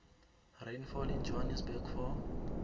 rainfall in johannesburg for